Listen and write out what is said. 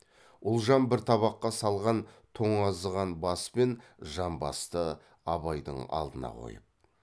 ұлжан бір табаққа салған тоңазыған бас пен жамбасты абайдың алдына қойып